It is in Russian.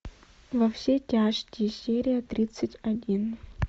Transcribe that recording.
во все тяжкие серия тридцать один